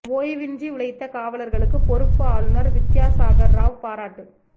ஓய்வின்றி உழைத்த காவலர்களுக்கு பொறுப்பு ஆளுநர் வித்யாசாகர் ராவ் பாராட்டு